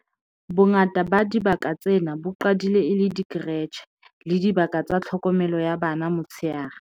Bongata ba dibaka tsena bo qadile e le dikeretjhe le dibaka tsa tlhokomelo ya bana ya motsheare.